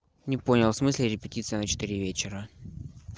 не понял в смысле репетиция на четыре вечера